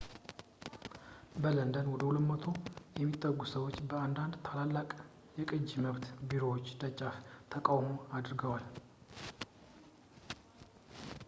በለንደን ወደ 200 የሚጠጉ ሰዎች በአንዳንድ ታላላቅ የቅጂ መብት ቢሮዎች ደጃፍ ተቃውሞ አድርገዋል